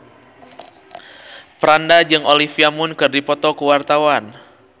Franda jeung Olivia Munn keur dipoto ku wartawan